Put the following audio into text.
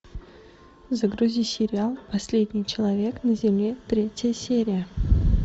загрузи сериал последний человек на земле третья серия